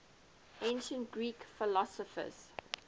ancient greek philosophers